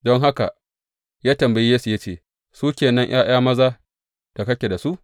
Don haka ya tambayi Yesse ya ce, Su ke nan ’ya’yan maza da kake da su?